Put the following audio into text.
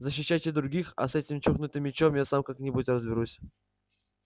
защищайте других а с этим чокнутым мячом я сам как-нибудь разберусь